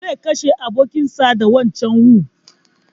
Zai kashe abokin sa da wancan wu